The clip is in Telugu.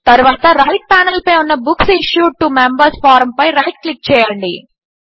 తరువాత రైట్ ప్యానెల్పై ఉన్న బుక్స్ ఇష్యూడ్ టో మెంబర్స్ ఫారంపై రైట్ క్లిక్ చేయండి